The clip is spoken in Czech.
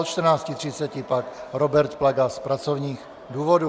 Od 14.30 pak Robert Plaga z pracovních důvodů.